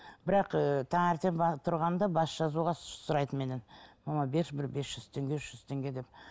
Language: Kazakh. бірақ ыыы таңертең тұрғанда бас жазуға сұрайды меннен мама берші бір бес жүз теңге үш жүз теңге деп